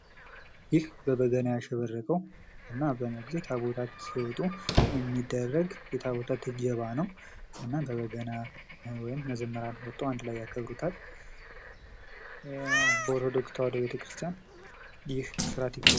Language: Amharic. ይህ በበገና ያሸበረቀ እና አንዳንድ ጊዜ ታቦታት ሲወጡ የሚደረግ የታቦታት እጀባ ነው። እና በበገና መዘምራኑ ወጥተው ያከብሩታል። በኦርቶዶክስ ተዋሕዶ ቤተክርስቲያን ይህ ስርዓት ይከናወናል።